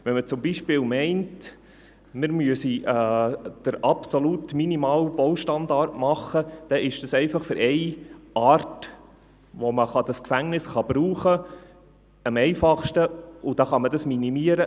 Wenn man beispielsweise meint, man müsse den absolut minimalen Baustandard machen, dann ist dies einfach für eine Art am einfachsten, in der man dieses Gefängnis brauchen kann, und dann kann man es minimieren.